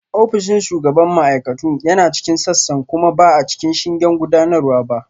Ofishin shugaban ma'aikatun yana cikin sassan kuma ba a cikin shingen gudanarwa ba